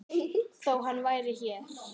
Þó hann væri hér.